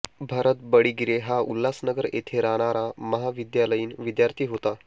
भरत बडीगिरे हा उल्हासनगर येथे राहणारा महाविद्यालयीन विद्यार्थी होता